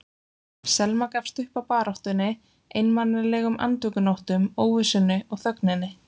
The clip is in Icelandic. Selma gafst upp á baráttunni, einmanalegum andvökunóttum, óvissunni og þögninni.